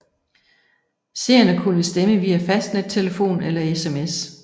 Seerne kunne stemme via fastnettelefon eller SMS